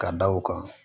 Ka da o kan